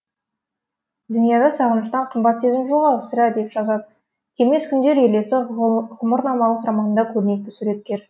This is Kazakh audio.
дүнияда сағыныштан қымбат сезім жоқ ау сірә деп жазады келмес күндер елесі ғұмырнамалық романында көрнекті суреткер